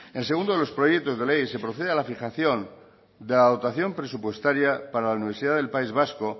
en el segundo de los proyectos de ley se procede a la fijación de la dotación presupuestaria para la universidad del país vasco